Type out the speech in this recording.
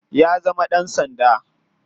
Ya zama dan sanda.